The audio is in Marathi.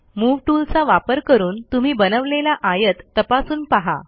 मूव्ह टूलचा वापर करून तुम्ही बनवलेला आयत तपासून पहा